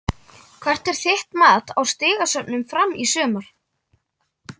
Hvert er þitt mat á stigasöfnun Fram í sumar?